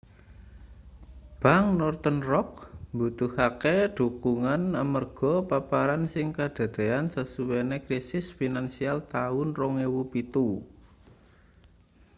bank northern rock mbutuhake dhukungan amarga paparan sing kadadeyan sasuwene krisis finansial taun 2007